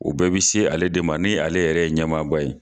O bɛɛ bɛ se ale de ma ni ale yɛrɛ ye ɲɛmaaba ye